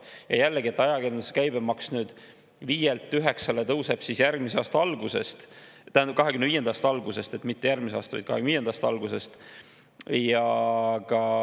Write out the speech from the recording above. Ja jällegi sellest, et ajakirjanduse käibemaks 5%‑lt 9%‑le tõuseb 2025. aasta algusest.